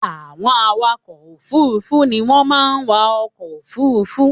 Àwọn awakọ̀ òfurufú ni wọ́n máa ń wa ọkọ̀ òfurufú